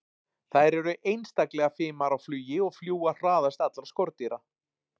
þær eru einstaklega fimar á flugi og fljúga hraðast allra skordýra